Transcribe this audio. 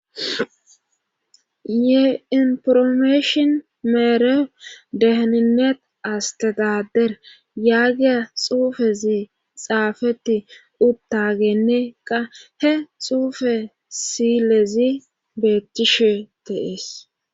ye informeeshon meere deheninet astetader yaagiya xuufezi xaafetti uttagenne qa he xuufe silezi beettishe de'ees